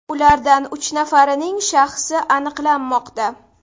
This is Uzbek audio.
Ulardan uch nafarining shaxsi aniqlanmoqda.